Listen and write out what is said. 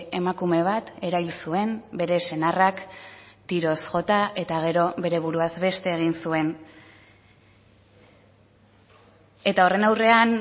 emakume bat erail zuen bere senarrak tiroz jota eta gero bere buruaz beste egin zuen eta horren aurrean